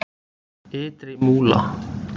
Ytri Múla